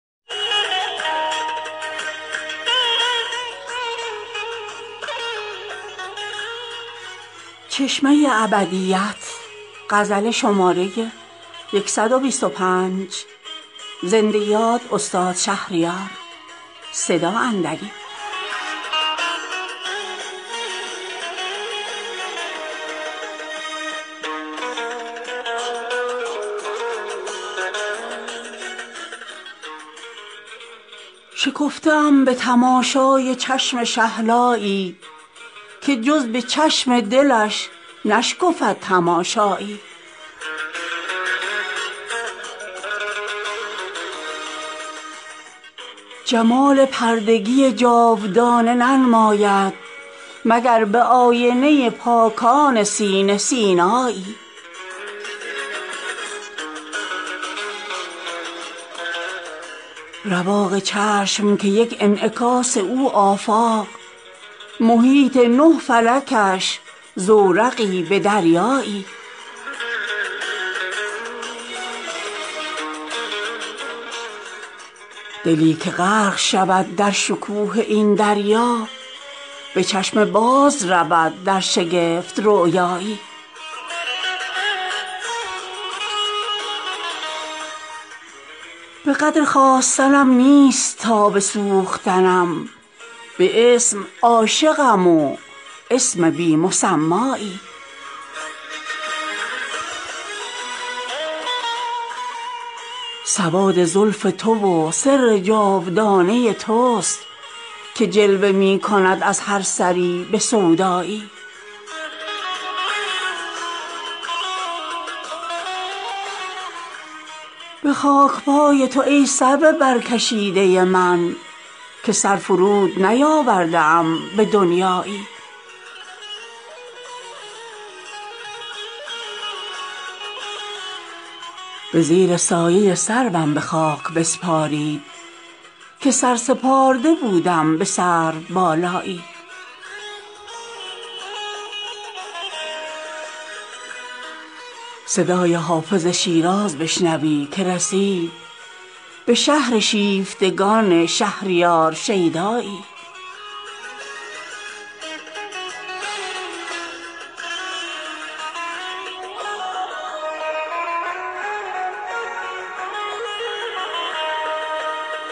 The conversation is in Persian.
شکفته ام به تماشای چشم شهلایی که جز به چشم دلش نشکفد تماشایی وگر به دیده دل رخصت تماشا داد ز هر کرانه تجلی کند به سیمایی جمال پردگی جاودانه ننماید مگر به آینه پاکان سینه سینایی رواق چشم که یک انعکاس او آفاق محیط نه فلکش زورقی به دریایی دلی که غرق شود در شکوه این دریا به چشم باز رود در شگفت رؤیایی به چشم او که خود از لامکان گشوده کمین چه جای پست و بلند و نهان و پیدایی بخواندم به نهیب و براندم به لهیب چه ماه مشتعل و شاهد معمایی به قدر خواستنم نیست تاب سوختنم به اسم عاشقم و اسم بی مسمایی جز این امید ندانم که خو کنم به خیال مرا که نیست به دیدار یار یارایی نه هر صلیب به گردون شود مگر زاید دوباره از دم روح القدس مسیحایی مسیح نیز نیابد مجال سیر فلک نبسته بال و پر از چوبه چلیپایی سواد زلف تو و سر جاودانه تست که جلوه می کند از هر سری به سودایی چه طایری ست دلم کآشیان نمی بندد مگر به نخله طوری و شاخ طوبایی به خاکپای تو ای سرو برکشیده من که سر فرود نیاورده ام به دنیایی به طره تو که طومار کارنامه من تراز سنجر و طغرل کنی به طغرایی به زیر سایه سروم به خاک بسپارید که سرسپارده بودم به سرو بالایی مرا به نقش و نگار سفینه حاجت نیست چه زیوری ست زیادی به روی زیبایی صدای حافظ شیراز بشنوی که رسید به شهر شیفتگان شهریار شیدایی